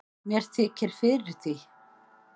mér þykir fyrir því